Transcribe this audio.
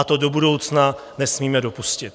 A to do budoucna nesmíme dopustit.